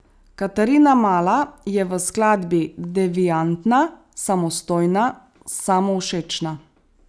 Katarina Mala je v skladbi deviantna, samostojna, samovšečna.